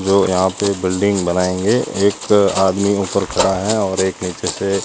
जो यहां पे एक बिल्डिंग बनाएंगे एक आदमी ऊपर खड़ा है और एक नीचे से--